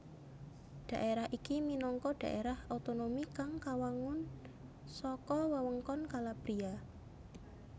Dhaerah iki minangka dhaerah otonomi kang kawangun saka wewengkon Calabria